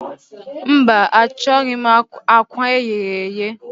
Mba, achọghị m akwa eghere eghe.